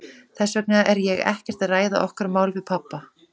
Þess vegna er ég ekkert að ræða okkar mál við pabba.